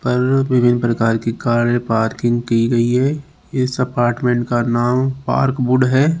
कल विभिन्न प्रकार की कारें पार्किंग की गई है इस अपार्टमेंट का नाम पार्कवुड है।